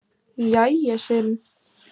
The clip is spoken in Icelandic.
Jæja, segir hún.